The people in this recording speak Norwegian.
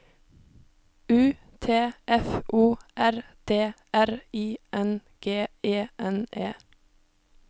U T F O R D R I N G E N E